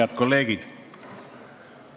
Head kolleegid!